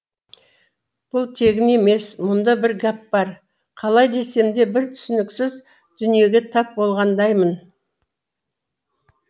бұл тегін емес мұнда бір гәп бар қалай десем де бір түсініксіз дүниеге тап болғандаймын